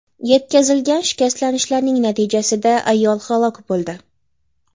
Yetkazilgan shikastlanishlar natijasida ayol halok bo‘ldi.